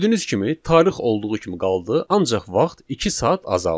Gördüyünüz kimi tarix olduğu kimi qaldı, ancaq vaxt iki saat azaldı.